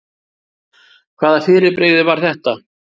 Hvaða fyrirbrigði var þetta?